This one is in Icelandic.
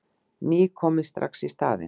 Ný komin strax í staðinn.